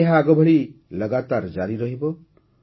ଏବେ ଏହା ଆଗଭଳି ଲଗାତାର ଜାରି ରହିବ